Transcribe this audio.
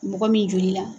Mɔgɔ min joli la